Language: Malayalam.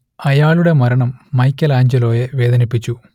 അയാളുടെ മരണം മൈക്കെലാഞ്ചലോയെ വേദനിപ്പിച്ചു